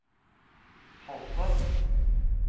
Halsa